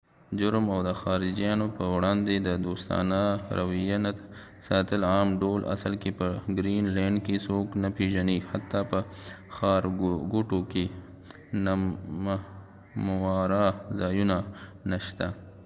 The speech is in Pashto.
جرم او د خارجېانو په وړاندي د دوستانه رويه نه ساتل په عام ډول اصل کې په ګرین لینډ کې څوک نه پیژنی حتی په ښارګوټو کې نمهمواره ځایونه نه شته